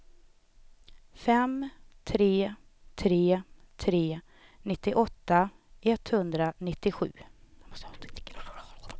fem tre tre tre nittioåtta etthundranittiosju